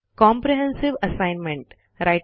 comprehensive assignment